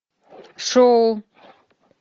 шоу